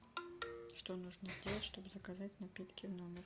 что нужно сделать чтобы заказать напитки в номер